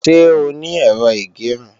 Ṣé o ní Ẹ̀rọ ìgẹrun?